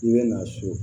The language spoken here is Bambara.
I bɛ na so